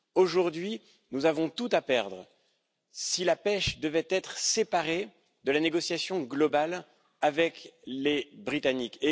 Aujourd'hui, nous aurions tout à perdre si la pêche devait être séparée de la négociation globale avec les Britanniques.